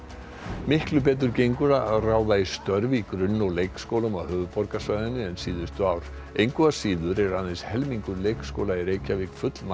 miklu betur gengur að ráða í störf í grunn og leikskólum á höfuðborgarsvæðinu en síðustu ár engu að síður er aðeins helmingur leikskóla í Reykjavík